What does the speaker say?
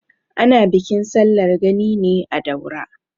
Ana bikin sallar gani ne a Daura.